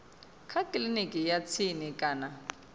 kha kiliniki ya tsini kana